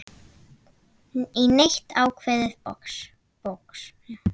í neitt ákveðið box.